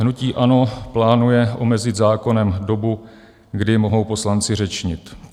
Hnutí ANO plánuje omezit zákonem dobu, kdy mohou poslanci řečnit.